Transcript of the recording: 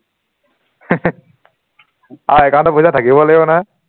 আৰু account ত পইচা থাকিবও লাগিব নহয়